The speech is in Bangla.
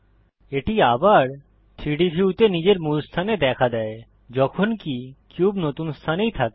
এটি আবার 3ডি ভিউতে নিজের মূল স্থানে দেখা দেয় যখনকি কিউব নতুন স্থানেই থাকে